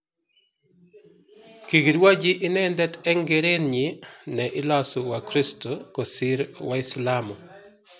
Kikirwoji inendet eng keretnyi ne ilosu Wakristo kosir Waislamu